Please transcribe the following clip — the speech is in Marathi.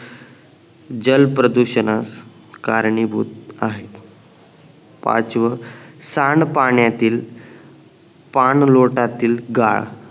जल प्रदूषणश कारणीभूत आहे पाचव सांड पाण्यातील पानलोटातील गाळ